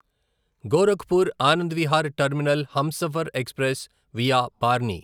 Gorakhpur Anand Vihar terminal Humsafar express via Barhni